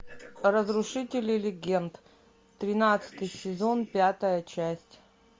разрушители легенд тринадцатый сезон пятая часть